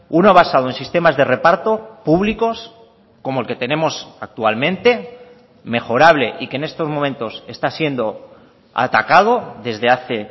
uno basado en sistemas de reparto públicos como el que tenemos actualmente mejorable y que en estos momentos está siendo atacado desde hace